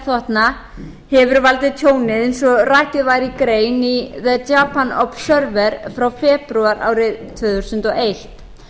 herþotna hefur valdið tjóni eins og rakið var í grein í the japan observer frá febrúar árið tvö þúsund og eitt